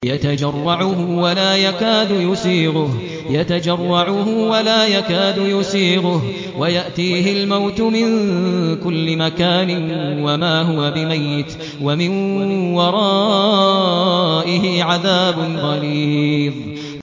يَتَجَرَّعُهُ وَلَا يَكَادُ يُسِيغُهُ وَيَأْتِيهِ الْمَوْتُ مِن كُلِّ مَكَانٍ وَمَا هُوَ بِمَيِّتٍ ۖ وَمِن وَرَائِهِ عَذَابٌ غَلِيظٌ